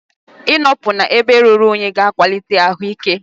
Ị nọpụ n'ebe ruru únyí ga akwalitenwu ahụ ike